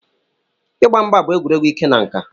Ịgba mgba bụ egwuregwu ike na nka.